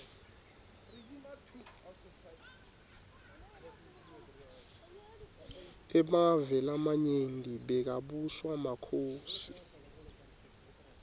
emave lamanyenti bekabuswa makhosi